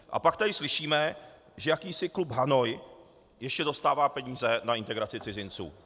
A pak tady slyšíme, že jakýsi Klub Hanoi ještě dostává peníze na integraci cizinců.